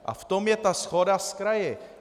A v tom je ta shoda s kraji.